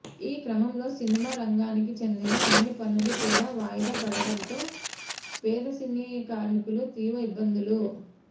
ఈ క్రమంలో సినిమా రంగానికి చెందిన అన్ని పనులు కూడా వాయిదా పడటంతో పేద సినీ కార్మికులు తీవ్ర ఇబ్బందులు